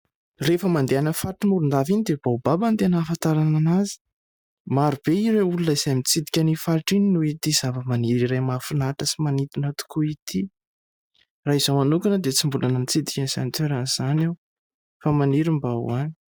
Rehefa mandeha faritra Morondava iny dia baobaba ny tena ahafantarana an'azy. Marobe ireo olona izay mitsidika ny faritra iny noho ity zavamaniry iray mahafinaritra sy manintona tokoa ity. Raha izaho hanokana dia tsy mbola natsidika ny santorana izany aho fa maniry mba ho any.